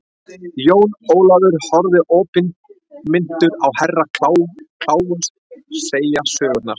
Jón Ólafur horfði opinmynntur á Herra Kláus segja söguna.